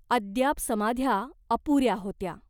अद्याप समाध्या अपुऱ्या होत्या.